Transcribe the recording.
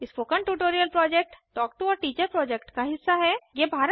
spoken tutorial project talk to a teacher project का हिस्सा है